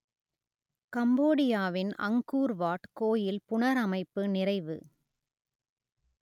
கம்போடியாவின் Angkor Wat கோயில் புனரமைப்பு நிறைவு